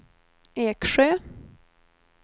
Eksjö